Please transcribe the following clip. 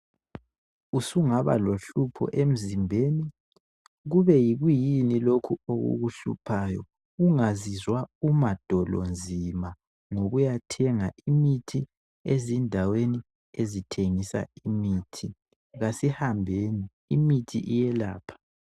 Usungaba lohlupho emzimbeni kube yikuyini lokhu okukuhluphayo ungazizwa umadolonzima ngokuyathenga imithi ezindaweni ezithengisa imithi kasihambeni imithi iyelapha.